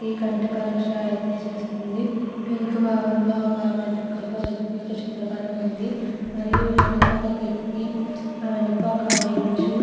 ఇది కంటి పరీక్ష అయితే చేస్తుంది. వెనుక బాగం లో ఒక గొప్పప వెక్తి ఫోటో అయితే ఉంది. మరియు వెనుక ఒక కిటికీ ఆ వెనుక ఒక బెంచు --